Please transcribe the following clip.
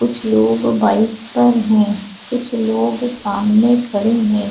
कुछ लोग बाइक पर है कुछ लोग सामने खड़े हैं ।